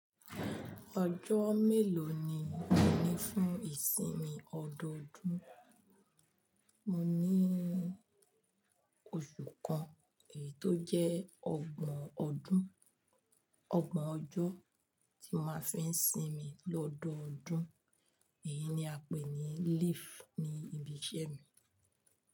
Ọjọ́ mélòó ni ó ní fún ìsinmi ọdọọdún? Mo ní oṣù kan, èyí tó jẹ́ ọgbọ̀n ọdún, ọgbọ̀n ọjọ́ tí mo máa fi ń sinmi lọ́dọọdún. Èyí ni a pè ní leave ní ibi iṣẹ́ mi.